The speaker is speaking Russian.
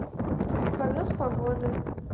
прогноз погоды